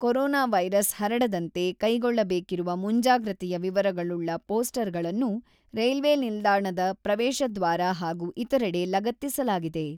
Corona virus ಹರಡದಂತೆ ಕೈಗೊಳ್ಳಬೇಕಿರುವ ಮುಂಜಾಗ್ರತೆಯ ವಿವರಗಳುಳ್ಳ ಪೋಸ್ಟರಗಳನ್ನು ರೈಲ್ವೆ ನಿಲ್ದಾಣದ ಪ್ರವೇಶ ದ್ವಾರ ಹಾಗೂ ಇತರೆಡೆ ಲಗತ್ತಿಸಲಾಗಿದೆ.